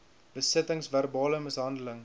besittings verbale mishandeling